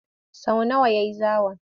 Sau nawa ya yi zawon?